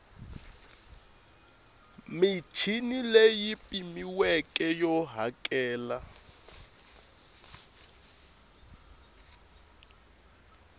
michini leyi pimiweke yo hakela